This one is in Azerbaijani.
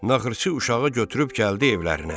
Naxırçı uşağı götürüb gəldi evlərinə.